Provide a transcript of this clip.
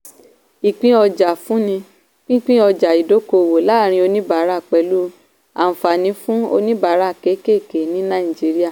ìpín-ọjà-fúnni - pínpín ọjà ìdókòwò láàrin oníbàárà pẹ̀lú àǹfààní fún oníbàárà kékèké ní nàìjíríà.